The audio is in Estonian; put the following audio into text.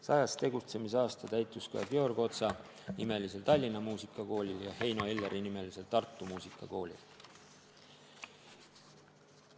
100. tegutsemisaasta täitus ka Georg Otsa nimelisel Tallinna Muusikakoolil ja Heino Elleri Muusikakoolil Tartus.